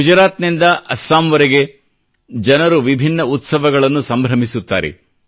ಗುಜರಾತ್ನಿಂದ ಅಸ್ಸಾಂವರೆಗೆ ಜನರು ವಿಭಿನ್ನ ಉತ್ಸವಗಳನ್ನು ಸಂಭ್ರಮಿಸುತ್ತಾರೆ